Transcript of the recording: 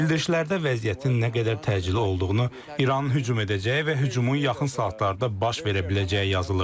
Bildirişlərdə vəziyyətin nə qədər təcili olduğunu, İranın hücum edəcəyi və hücumun yaxın saatlarda baş verə biləcəyi yazılırdı.